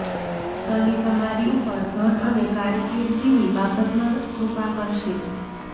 શની તમારી ઉપર ધન અને કારકિર્દીની બાબતમાં કૃપા કરશે